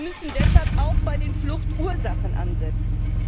Wir müssen deshalb auch bei den Fluchtursachen ansetzen.